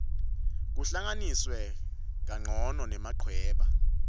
kuhlanganiswe kancono nemachweba